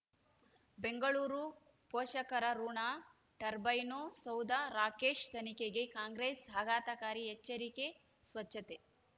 ಬೆಂಗಳೂರು ಪೋಷಕರಋಣ ಟರ್ಬೈನು ಸೌಧ ರಾಕೇಶ್ ತನಿಖೆಗೆ ಕಾಂಗ್ರೆಸ್ ಆಘಾತಕಾರಿ ಎಚ್ಚರಿಕೆ ಸ್ವಚ್ಛತೆ